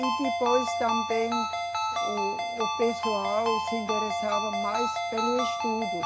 E depois também o, o pessoal se interessava mais pelo estudo.